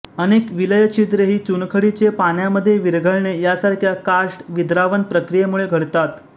अनेक विलयछिद्रे ही चुनखडीचे पाण्यामध्ये विरघळणे यासारख्या कार्स्ट विद्रावण प्रक्रियेमुळे घडतात